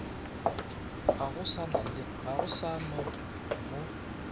ga go sa na mo